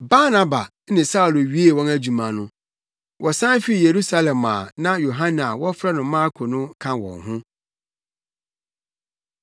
Barnaba ne Saulo wiee wɔn dwumadi no, wɔsan fii Yerusalem a na Yohane a wɔfrɛ no Marko no ka wɔn ho.